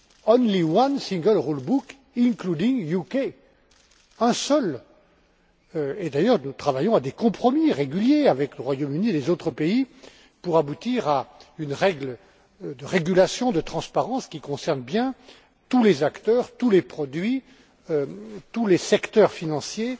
Only one single rule book including UK. Un seul, et, d'ailleurs, nous travaillons à des compromis réguliers avec le Royaume Uni et les autres pays pour aboutir à une règle de régulation de transparence, qui concerne bien tous les acteurs, tous les produits, tous les secteurs financiers